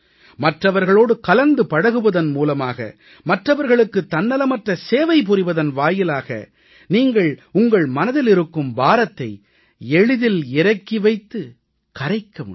மற்றவர்களோடு கலந்து பழகுவதன் மூலமாக மற்றவர்களுக்கு தன்னலமற்ற சேவை புரிவதன் வாயிலாக நீங்கள் உங்கள் மனதில் இருக்கும் பாரத்தை எளிதில் இறக்கி வைத்துக் கரைக்க முடியும்